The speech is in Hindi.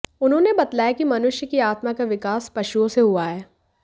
उन्होंने बतलाया है कि मनुष्य की आत्मा का विकास पशुओं से हुआ है